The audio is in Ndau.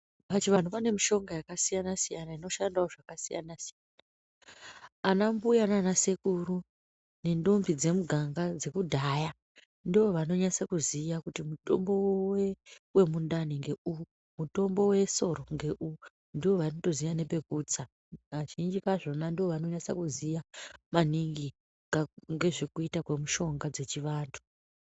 Pachivanhu panemishonga yakasiyana siyana inoshandawo zvakasiyana siyana, anambuya nana sekuru nentombi dzemuganga dzekudhaya ndovanonyatso kuziya kuti mutombo wemundani ngeuwu, mutombo wesoro ngeuwu ndovanotoziya nepekutsa. Kazhinji kazvona ndovanonyatsa kuziya maningi ngezvekuita kwemishonga dzechivantu.